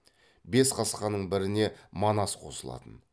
бес қасқаның біріне манас қосылатын